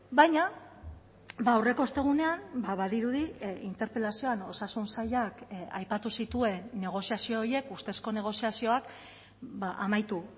baina aurreko ostegunean badirudi interpelazioan osasun sailak aipatu zituen negoziazio horiek ustezko negoziazioak amaitu